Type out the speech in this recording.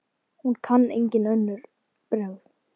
Hún kann engin önnur brögð.